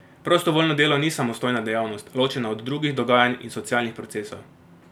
Prostovoljno delo ni samostojna dejavnost, ločena od drugih dogajanj in socialnih procesov.